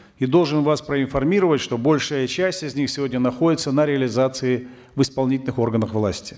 и должен вас проинформировать что большая часть из них сегодня находится на реализации в исполнительных органах власти